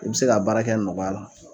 I bɛ se ka baara kɛ nɔgɔya la